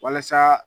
Walasa